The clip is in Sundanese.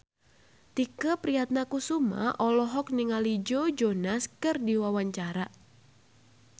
Tike Priatnakusuma olohok ningali Joe Jonas keur diwawancara